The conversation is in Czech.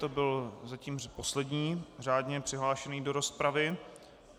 To byl zatím poslední řádně přihlášený do rozpravy.